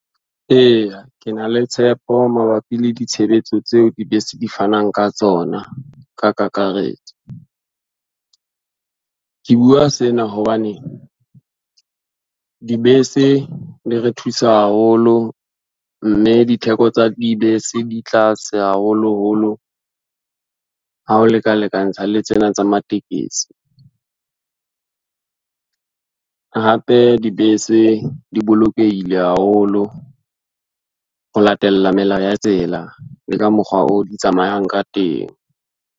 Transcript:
Eya, ke na le tshepo mabapi le ditshebetso tseo dibese di fanang ka tsona ka kakaretso. Ke bua sena hobane, dibese di re thusa haholo, mme ditheko tsa dibese di tlase haholoholo, ha o leka lekantsha le tsena tsa matekesi. hape dibese di bolokehile haholo ho latela melao ya tsela, le ka mokgwa oo di tsamayang ka teng.